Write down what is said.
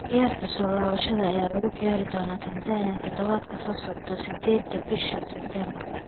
Ciyaarta soo laabashada ayaa lagu ciyaari doonaa Tanzania todobaadka soo socda 8-da bisha September.